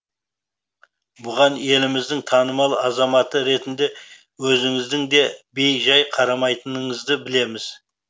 бұған еліміздің танымал азаматы ретінде өзіңіздің де бей жай қарамайтыныңызды білеміз